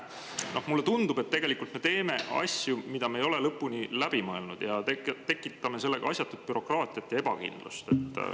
Mulle tundub, et me teeme asju, mida me ei ole lõpuni läbi mõelnud, ja tekitame nii asjatut bürokraatiat ja ebakindlust.